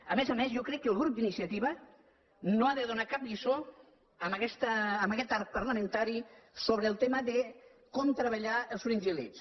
a més a més jo crec que el grup d’iniciativa no ha de donar cap lliçó en aquest arc parlamentari sobre el tema de com treballar els fringíl·lids